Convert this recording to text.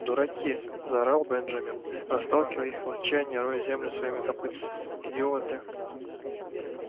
дураки заорал бенджамин расталкивая их в отчаянии роя землю своими копытцами идиоты